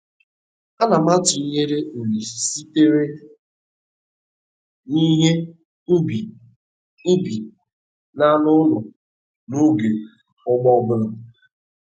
Ana m atụnyere uru sitere n'ihe ubi ubi na anụ ụlọ n'oge ugbo ọbụla